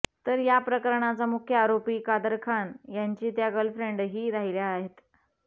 तर या प्रकरणाचा मुख्य आरोपी कादर खान यांची त्या गर्लफ्रेंडही राहिल्या आहेत